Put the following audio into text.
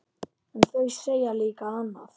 En þau segja líka annað.